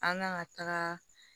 An kan ka taga